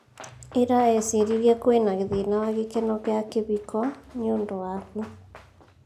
Ira eciririe kwĩna thĩna wa gikeno kia kĩbiko nĩundu waku.